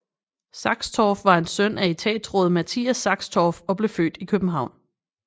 Saxtorph var en søn af etatsråd Matthias Saxtorph og blev født i København